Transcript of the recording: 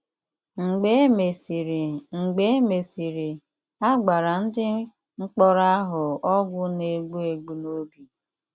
Mgbe e mesịrị, Mgbe e mesịrị, a gbara ndị mkpọrọ ahụ ọgwụ na-egbu egbu n’obi.